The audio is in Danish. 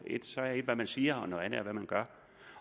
hvad man siger